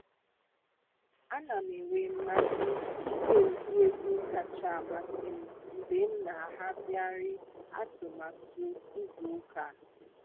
A na m enwe mmasị ịge ụdị egwu kacha amasị m mgbe m na ahazigharị atụmatụ izu ụka.